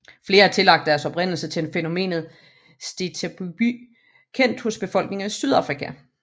Flere har tillagt deres oprindelse til fænomenet steatopygi kendt hos befolkninger i Sydafrika